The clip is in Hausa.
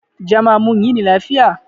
Jama' mun yini lafiya